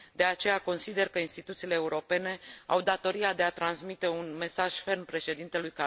De aceea consider că instituțiile europene au datoria de a transmite un mesaj ferm președintelui